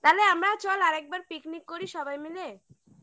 তাহলে আমরাও চল আর একবার picnic করি সবাই মিলে